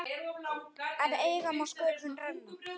En eigi má sköpum renna.